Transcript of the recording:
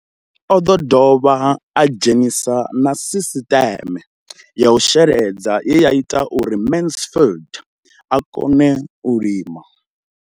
O ḓo dovha a dzhenisa na sisiṱeme ya u sheledza ye ya ita uri Mansfied a kone u lima.